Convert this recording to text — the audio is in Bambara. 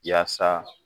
Yaasa